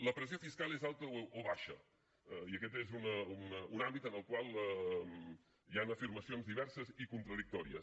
la pressió fiscal és alta o baixa i aquest és un àmbit en el qual hi han afirmacions diverses i contradictòries